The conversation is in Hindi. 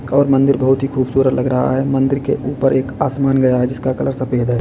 और मंदिर बहुत ही खूबसूरत लग रहा है मंदिर के ऊपर एक आसमान गया जिसका कलर सफेद है।